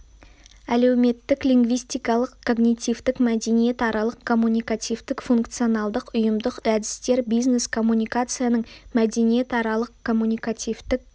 әлеуметтік лингвистикалық когнитивтік мәдениетаралық-коммуникативтік функционалдық-ұйымдық әдістер бизнес-коммуникацияның мәдениетаралық-коммуникативтік